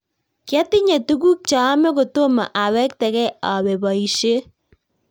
Kyatinye tuguk chaame kotomo awektegei awo boishiet